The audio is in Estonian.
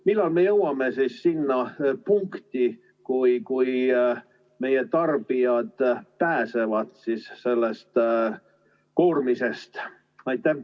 Millal me jõuame siis sinna punkti, et meie tarbijad pääsevad sellest koormisest?